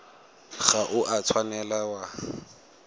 ga o a tshwanela wa